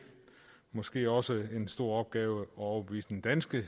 måske også en stor opgave at overbevise den danske